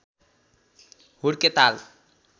हुड्के ताल